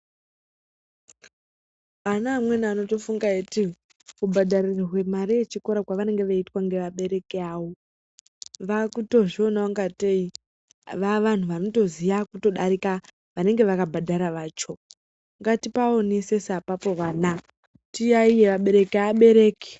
Ana amweni anongofunga eiti kubhadharirwe mari yechikora kwavanenge veiitwa ngevabereki awo vakutozviona kungateyi vavanhu vanotoziya kudarika vanenge vakabhadhara vacho. Ngatipaonesese apapo vana tiyayiye abereki.